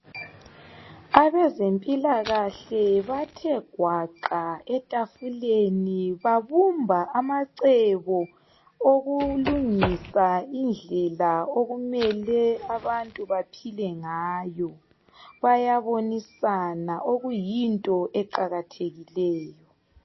Abezempilakahle bathe gwaqa ethafuleni babumba amacebo, okulungisa indlela okumele abantu baphile ngayo, bayabonisana okuyinto eqakathekileyo.